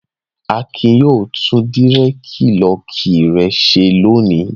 Adé yóò tún dírẹ́dilọọkì rẹ̀ ṣe lónìí.